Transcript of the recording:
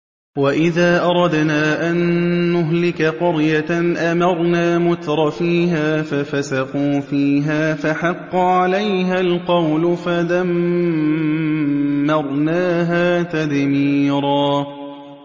وَإِذَا أَرَدْنَا أَن نُّهْلِكَ قَرْيَةً أَمَرْنَا مُتْرَفِيهَا فَفَسَقُوا فِيهَا فَحَقَّ عَلَيْهَا الْقَوْلُ فَدَمَّرْنَاهَا تَدْمِيرًا